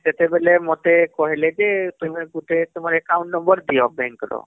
ସେତେବେଲେ ମତେ କହିଲେ ଯେ ତୁମେ ଗୁଟେ ତୁମର account number ଦିଅ bank ର